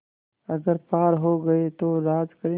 अगर पार हो गये तो राज करेंगे